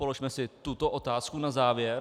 Položme si tuto otázku na závěr.